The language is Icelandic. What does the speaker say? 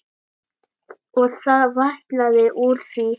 Og það vætlaði úr því.